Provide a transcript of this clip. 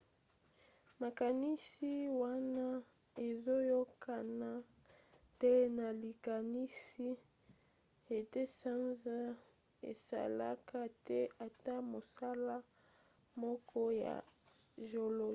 makanisi wana ezoyokana te na likanisi ete sanza esalaka te ata mosala moko ya géologique